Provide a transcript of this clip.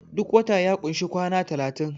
duk wata ya kunshi kwana talatin